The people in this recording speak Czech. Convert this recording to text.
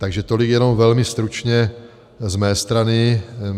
Takže tolik jenom velmi stručně z mé strany.